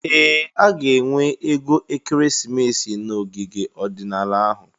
Ee! A ga-enwe ego ekeresimesi n'ogige ọdịnala ahụ.